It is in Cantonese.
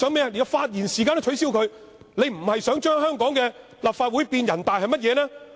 他想連發言時間也取消，他不是想將香港的立法會變成人大，又是甚麼呢？